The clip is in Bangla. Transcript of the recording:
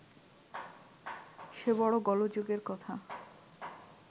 সে বড় গোলযোগের কথা